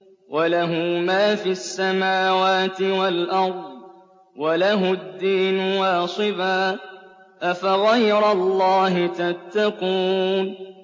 وَلَهُ مَا فِي السَّمَاوَاتِ وَالْأَرْضِ وَلَهُ الدِّينُ وَاصِبًا ۚ أَفَغَيْرَ اللَّهِ تَتَّقُونَ